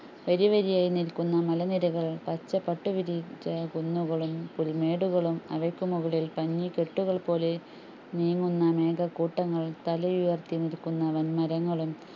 വാരിവരിയായിനിൽകുന്ന മലനിരകളും പച്ചപട്ടുവിരിച്ചകുന്നുകളും പുൽമേടുകളും അവക്കുമുകളിൽ പഞ്ഞികെട്ടുകൾപോലെ നീങ്ങുന്ന മേഘക്കൂട്ടങ്ങൾ തലയുയർത്തിനിൽകുന്ന വന്മരങ്ങളും